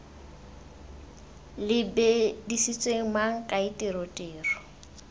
lebiseditswe mang kae tiro tiro